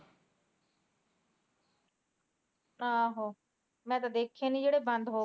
ਆਹੋ ਮੈ ਤਾ ਦੇਖੇ ਨੀ ਜਿਹੜੇ ਬੰਦ ਹੋਗੇ